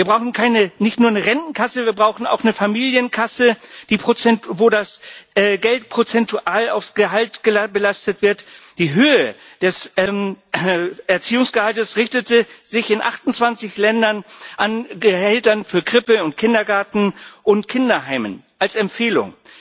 Wir brauchen nicht nur eine Rentenkasse, wir brauchen auch eine Familienkasse, wo das Geld prozentual auf das Gehalt belastet wird. Die Höhe des Erziehungsgehalts richtete sich in 28 Ländern an Gehältern für Krippe und Kindergarten und Kinderheimen als Empfehlung.